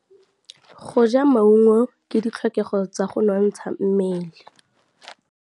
Go ja maungo ke ditlhokegô tsa go nontsha mmele.